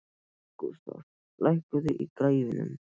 Gústaf, lækkaðu í græjunum.